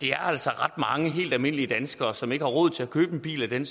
er altså ret mange helt almindelige danskere som ikke har råd til at købe en bil i den